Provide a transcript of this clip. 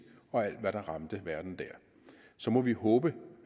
og alt hvad der ramte verden der så må vi håbe